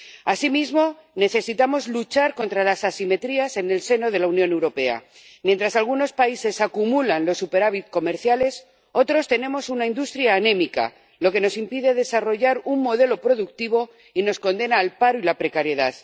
Asimismo, necesitamos luchar contra las asimetrías en el seno de la Unión Europea mientras algunos países acumulan superávit comerciales, otros tenemos una industria anémica, lo que nos impide desarrollar un modelo productivo y nos condena al paro y la precariedad.